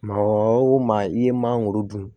Maa o maa i ye maa dun